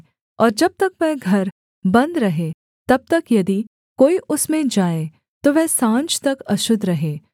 और जब तक वह घर बन्द रहे तब तक यदि कोई उसमें जाए तो वह साँझ तक अशुद्ध रहे